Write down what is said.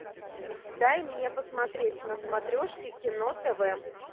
дай мне посмотреть на смотрешке кино тв